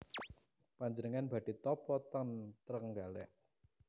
Panjenengan badhe tapa ten Trenggalek